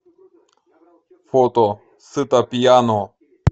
фото сыто пьяно